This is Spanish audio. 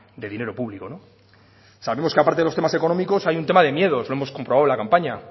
de dinero público sabemos que a parte de los temas económicos hay un tema de miedos lo hemos comprobado en la campaña